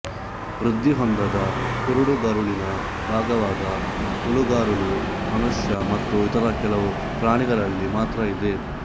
ವೃದ್ಧಿಹೊಂದದ ಕುರುಡುಗರುಳಿನ ಭಾಗವಾದ ಹುಳುಗರುಳು ಮನುಷ್ಯ ಮತ್ತು ಇತರ ಕೆಲವು ಪ್ರಾಣಿಗಳಲ್ಲಿ ಮಾತ್ರ ಇದೆ